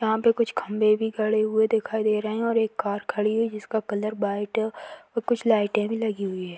यहाँ पे कुछ खम्बे भी खड़े हुवे दिखाई दे रहे हैं और एक कार खड़ी हुवी है जिसका कलर वाइट है और कुछ लाइटे भी लगी हुवी हैं।